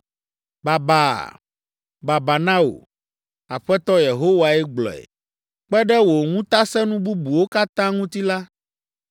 “Babaa! Babaa na wò! Aƒetɔ Yehowae gblɔe. Kpe ɖe wò ŋutasẽnu bubuwo katã ŋuti la,